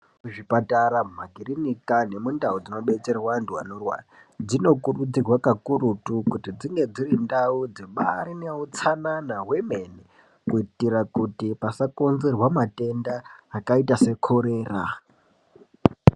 Zvipatara makirinika nemundau dzinobetserwe antu anorwara dzinokurudzirwa kakurutu kuti dzinge dziri ndau dzibari neutsanana hwemene kuitire kuti pasakonzerwa matenda akaita sekorera.